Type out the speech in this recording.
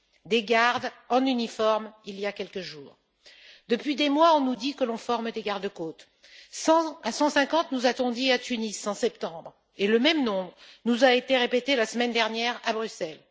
Des gardes, en uniforme, il y a quelques jours Depuis des mois, on nous dit que l'on forme des garde côtes, 100 à 150 nous a t on dit à Tunis en septembre, et le même nombre nous a été répété la semaine dernière à Bruxelles.